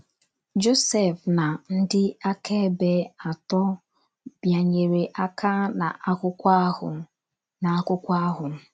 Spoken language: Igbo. Josef na ndị akaebe atọ bịanyere aka n’akwụkwọ ahụ. n’akwụkwọ ahụ.